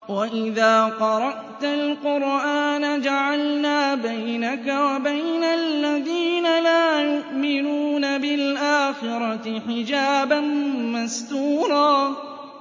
وَإِذَا قَرَأْتَ الْقُرْآنَ جَعَلْنَا بَيْنَكَ وَبَيْنَ الَّذِينَ لَا يُؤْمِنُونَ بِالْآخِرَةِ حِجَابًا مَّسْتُورًا